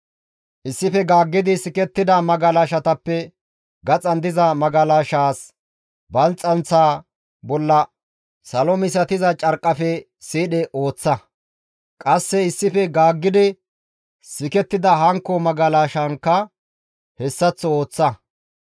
Issife gaaggi sikettida magalashatappe gaxan diza magalashaas balxxanththa bolla salo misatiza carqqafe siidhe ooththa; qasse issife gaaggidi sikettida hankko magalashaankka hessaththo ooththa.